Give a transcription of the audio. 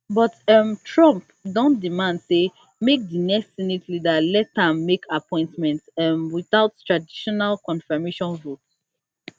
but um trump don demand say make di next senate leader let am make appointments um without traditional confirmation votes